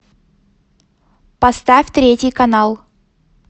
поставь третий канал